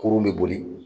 Kurun be boli